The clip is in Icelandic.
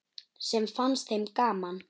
Samt fannst þeim gaman.